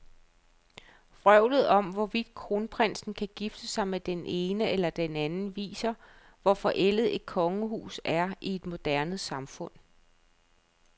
Vrøvlet om, hvorvidt kronprinsen kan gifte sig med den ene eller den anden, viser, hvor forældet et kongehus er i et moderne samfund.